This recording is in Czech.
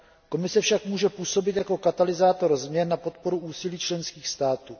Komise však může působit jako katalyzátor změn na podporu úsilí členských států.